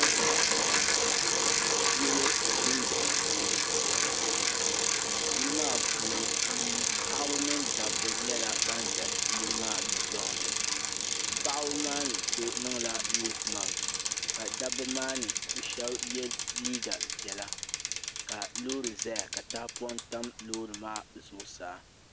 Yili dun dɔŋ puuni n bɔŋɔ. yili maa puuni paɣaba ni daba nyɛla banʒɛ yili maa dun dɔŋni. paɣiba maa ni so niŋla nose matse. ka dabi maa mi shabi mi ye liiga piɛla, ka lɔɔri ʒaya, ka tahipɔŋ tam lɔɔri maa zuɣu saa.